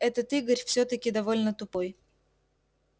этот игорь всё-таки довольно тупой